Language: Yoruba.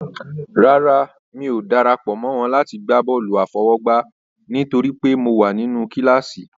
Rárá, mi ò dara pọ̀ mọ́ wọn láti gbá bọ́ọ̀lù àfọwọ́gbá nítorí pé mo wà nínú kíláàsì.